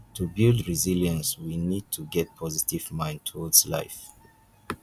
to build resilience we need to get positive mind towards life